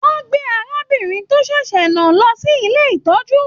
Wọn gbé arábìnrin tó sèsè náà lọ sí ilé ìtọjú.